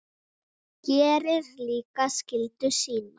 Gerir líka skyldu sína.